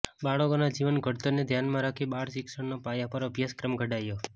બાળકોના જીવન ઘડતરને ધ્યાનમાં રાખી બાળ શિક્ષણના પાયા પર અભ્યાસક્રમ ઘડાયો